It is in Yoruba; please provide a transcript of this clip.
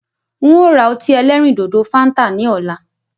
Ń ó ra ọtí ẹlẹ́rìndòdò "Fanta" ni ọ̀la.